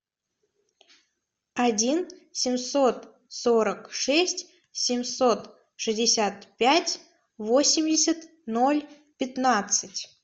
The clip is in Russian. один семьсот сорок шесть семьсот шестьдесят пять восемьдесят ноль пятнадцать